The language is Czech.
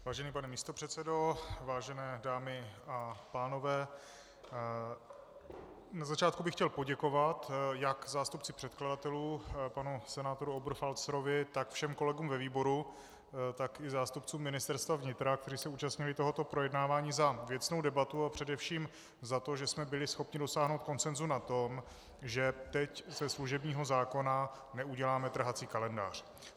Vážený pane místopředsedo, vážené dámy a pánové, na začátku bych chtěl poděkovat jak zástupci předkladatelů panu senátoru Oberfalzerovi, tak všem kolegům ve výboru, tak i zástupcům Ministerstva vnitra, kteří se účastnili tohoto projednávání, za věcnou debatu a především za to, že jsme byli schopni dosáhnout konsenzu na tom, že teď ze služebního zákona neuděláme trhací kalendář.